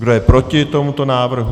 Kdo je proti tomuto návrhu?